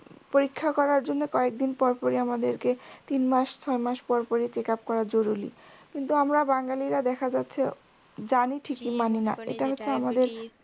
পরীক্ষা করার জন্য কয়েকদিন পর পর ই আমাদেরকে তিন মাস ছয় মাস পর পরই checkup করা জরুরী কিন্তু আমরা বাঙ্গালিরা দেখা যাচ্ছে জানি ঠিকই মানিনা